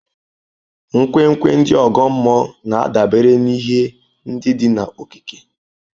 Nkwenkwe ndị ọgọ mmụọ na-adabere n'ihe ndị dị n'okike.